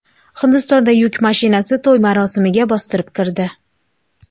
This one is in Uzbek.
Hindistonda yuk mashinasi to‘y marosimiga bostirib kirdi.